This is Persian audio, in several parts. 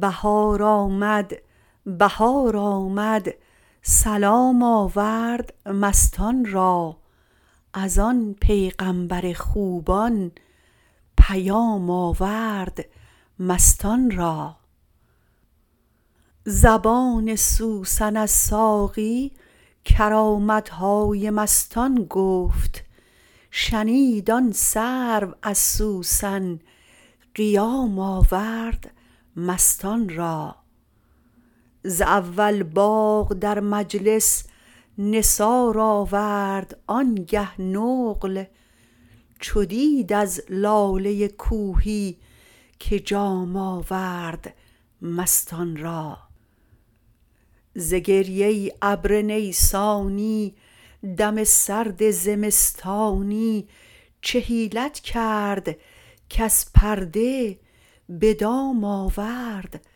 بهار آمد بهار آمد سلام آورد مستان را از آن پیغامبر خوبان پیام آورد مستان را زبان سوسن از ساقی کرامت های مستان گفت شنید آن سرو از سوسن قیام آورد مستان را ز اول باغ در مجلس نثار آورد آنگه نقل چو دید از لاله کوهی که جام آورد مستان را ز گریه ابر نیسانی دم سرد زمستانی چه حیلت کرد کز پرده به دام آورد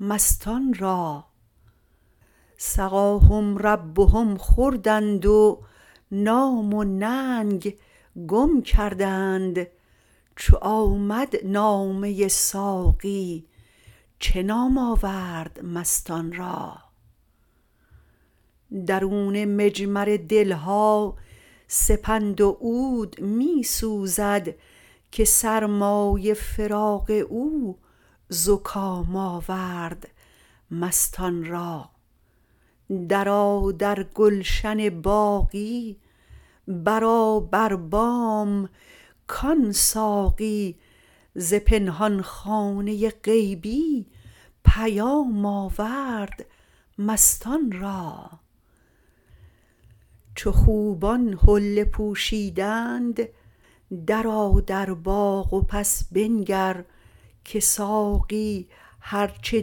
مستان را سقاهم ربهم خوردند و نام و ننگ گم کردند چو آمد نامه ساقی چه نام آورد مستان را درون مجمر دل ها سپند و عود می سوزد که سرمای فراق او زکام آورد مستان را درآ در گلشن باقی برآ بر بام کان ساقی ز پنهان خانه غیبی پیام آورد مستان را چو خوبان حله پوشیدند درآ در باغ و پس بنگر که ساقی هر چه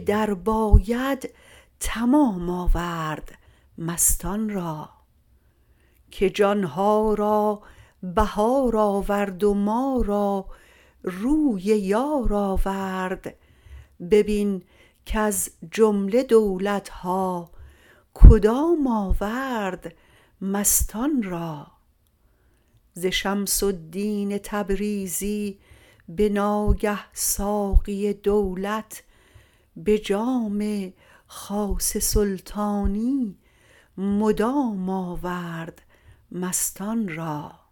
درباید تمام آورد مستان را که جان ها را بهار آورد و ما را روی یار آورد ببین کز جمله دولت ها کدام آورد مستان را ز شمس الدین تبریزی به ناگه ساقی دولت به جام خاص سلطانی مدام آورد مستان را